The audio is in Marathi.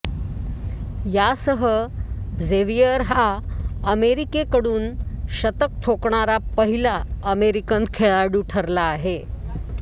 यासह जेवियर हा अमेरिकेकडून शतक ठोकणारा पहिला अमेरिकन खेळाडू ठरला आहे